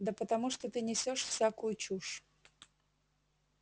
да потому что ты несёшь всякую чушь